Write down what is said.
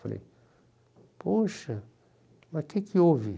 Falei, poxa, mas o que que houve?